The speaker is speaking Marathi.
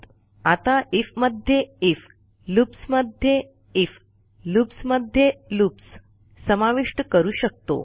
आपण आयएफ मध्ये आयएफ लूप्स मध्ये आयएफ लूप्स मध्ये लूप्स समाविष्ट करू शकतो